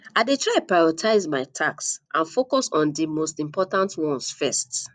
i dey try to prioritize my tasks and focus on di most important ones first